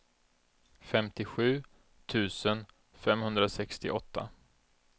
femtiosju tusen femhundrasextioåtta